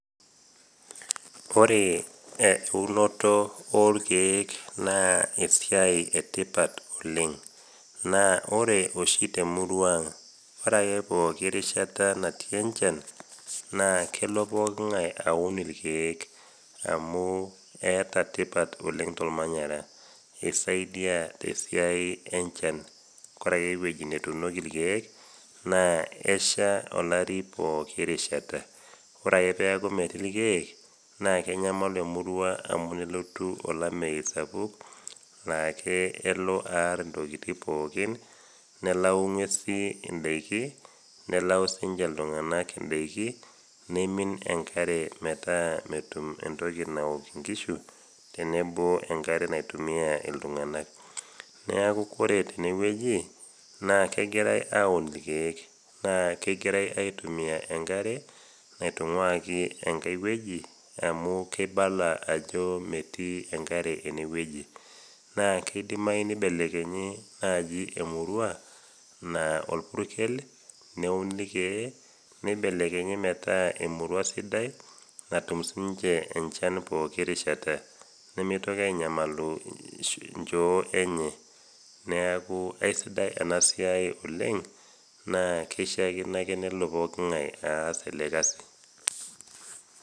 Ore oshi eunoto orkeek naa e,bae etipat oleng ,naa ore oshi temurua ang naa ore ake pooki rishata natii enchan naa kelo pooki ngae aun irkeek amu enetipat tesiai ormanyera amu esaidia oleng tesiai enchan ore ake eweji netuunieki irkeek naa eshaa pooki rishata ,ore ake pee eku metii irkeek naa kenyamalu emurua amu kelotu olameyu naa kelo aar ongwesin pooki nelau ndaikin neleu siininche iltunganak daiki neeku kelauni enkare naok nkishu tenebo wenkare naitumiya iltunganak ,neeku ore teneweji naa kegirae aun irkeek naa kegirae aitumiyia enkare naingua enkae weji amu kelio ajo metii enkare eneweji ,naa keidimayu naaji nibelekenyi emurua naa orpurkel neuni irkeek nibelekenyi metaa emurua sidai pooki rishata ,nimitoki aanyamalu ichoo enye neeku eisidai ena siai oleng naa kishaakino ake nelo pooki ngae aas ele kasi.